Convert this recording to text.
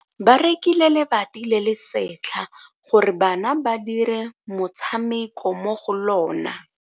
Ba rekile lebati le le setlha gore bana ba dire motshameko mo go lona.